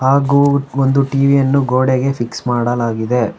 ಹಾಗು ಒಂದು ಟಿ_ವಿ ಯನ್ನು ಗೋಡೆಗೆ ಫಿಕ್ಸ್ ಮಾಡಲಾಗಿದೆ.